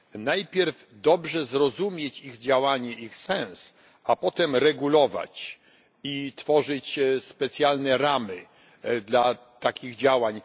Najpierw dobrze zrozumieć ich działanie, ich sens, a potem regulować i tworzyć specjalne ramy dla takich działań.